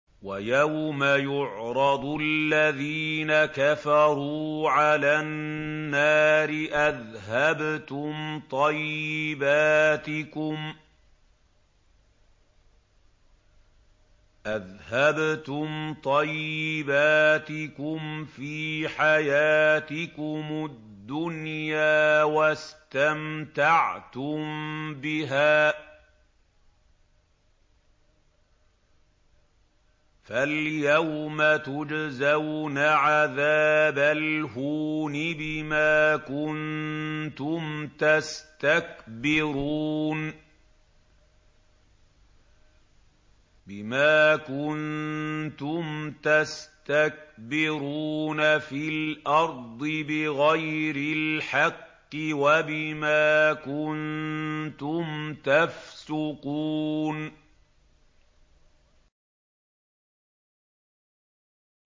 وَيَوْمَ يُعْرَضُ الَّذِينَ كَفَرُوا عَلَى النَّارِ أَذْهَبْتُمْ طَيِّبَاتِكُمْ فِي حَيَاتِكُمُ الدُّنْيَا وَاسْتَمْتَعْتُم بِهَا فَالْيَوْمَ تُجْزَوْنَ عَذَابَ الْهُونِ بِمَا كُنتُمْ تَسْتَكْبِرُونَ فِي الْأَرْضِ بِغَيْرِ الْحَقِّ وَبِمَا كُنتُمْ تَفْسُقُونَ